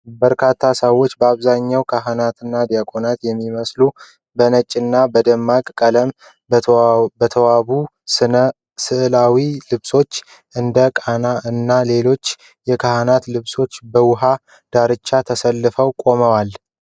በርካታ ሰዎች፣ በአብዛኛው ካህናትና ዲያቆናት የሚመስሉ፣ በነጭ እና በደማቅ ቀለም በተሞሉ ሥነ-ሥርዓታዊ ልብሶች እንደ ቃና እና ሌሎች የካህናት ልብሶች በውሃው ዳርቻ ተሰልፈው ቆመዋል።